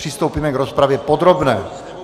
Přistoupíme k rozpravě podrobné.